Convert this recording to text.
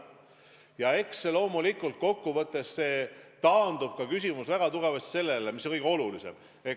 Eks see küsimus loomulikult kokkuvõttes taandub sellele, mis on kõige olulisem.